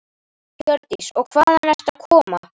Hjördís: Og hvaðan ertu að koma?